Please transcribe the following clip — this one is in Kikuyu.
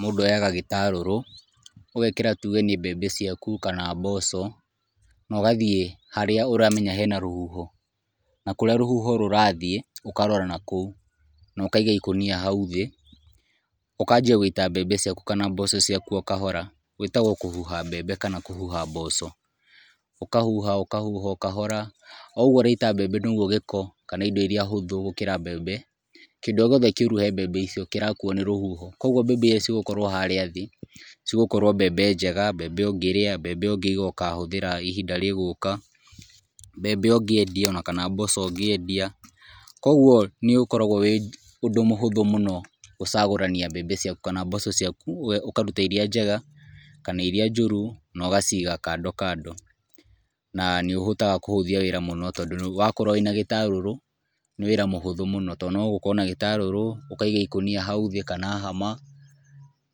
Mũndũ oyaga gĩtarũrũ, ũgekĩra tuge nĩ mbembe ciaku kana mboco, na ũgathiĩ harĩa ũramenya hena rũhuho, na kũrĩa rũhuho rũrathiĩ ũkarora nakũu, na ũkaiga ikũnia hau thĩ, ũkanjia gũita mbembe ciaku kana mboco ciaku o kahora, gĩtagwo kũhuha mbembe kana kũhuha mboco, ũkahuha ũkahuha o kahora, o ũguo ũraita mbembe noguo gĩko kana indo iria hũthũ gũkĩra mbembe, kĩndũ o gĩothe kĩuru he mbembe icio kĩrakuo nĩ rũhuho, koguo mbembe iria igũkorwo harĩa thĩ, cigũkorwo mbembe njega, mbembe ũngĩrĩa, mbembe ũngĩiga ũkahũthĩra ihinda rĩgũka, mbembe ũngĩendia ona kana mboco ũngĩendia, koguo nĩ ũkorawo wĩ ũndũ mũhũthũ mũno gũcagũrania mbembe ciaku kana mboco ciaku, ũkaruta iria njega kana iria njũru no gaciga kando kando, na nĩ ũhotaga kũhũthia wĩra mũno tondũ wakorwo wĩ na gĩtarũrũ nĩ wĩra mũhũthũ mũno tondũ no gũkorwo na gĩtarũrũ, ũkaiga ikũnia hau thĩ kana hama,